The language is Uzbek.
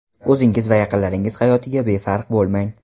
O‘zingiz va yaqinlaringiz hayotiga befarq bo‘lmang.